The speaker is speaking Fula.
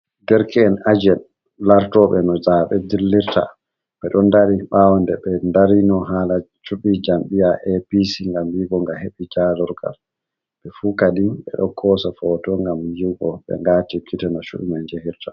Deirke'en ajen lartoɓe no zaɓe dillirta, ɓe ɗon dari ɓawo nde be darino hala cubi jam'iy APC gam yigo ga heɓi jalurgal, fu kadin ɓeɗo kosa foto gam yigo ɓe ngati gite no chubi man ya hirta.